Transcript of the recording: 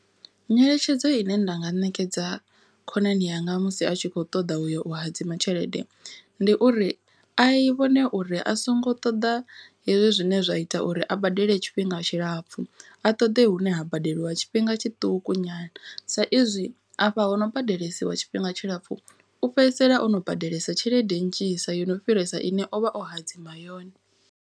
Nyeletshedzo ine nda nga ṋekedza khonani yanga musi a tshi kho ṱoḓa uyo u hadzima tshelede. Ndi uri a vhone uri a songo ṱoḓa hezwi zwine zwa ita uri a badele tshifhinga tshilapfhu. A ṱoḓe hune ha badeliwa tshifhinga tshiṱuku nyana. Sa izwi afha hono badelesiwa tshifhinga tshilapfu u fhedzisela ono badelesa tshelede nnzhisa yo no fhirisa ine ovha o hadzima yone.